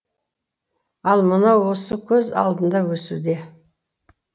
ал мынау осы көз алдыңда өсуде